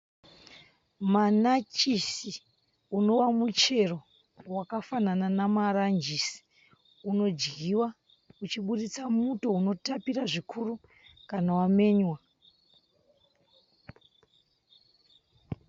Manachisi unova muchero wakafanana nemanyajisi, unodyiwa uchiburitsa muto unotapira zvikuru kana wamenywa.